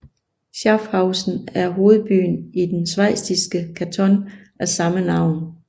Schaffhausen er hovedbyen i den schweiziske kanton af samme navn